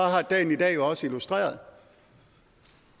har dagen i dag jo også illustreret